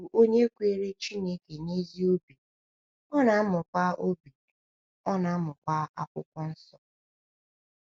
Ọ bụ onye kwere Chineke n’ezigbo obi, ọ na-amụkwa obi, ọ na-amụkwa Akwụkwọ Nsọ.